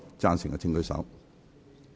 贊成的請舉手。